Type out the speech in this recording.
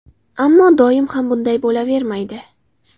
Ammo doim ham bunday bo‘lavermaydi.